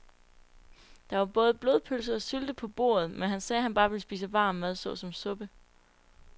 Der var både blodpølse og sylte på bordet, men han sagde, at han bare ville spise varm mad såsom suppe.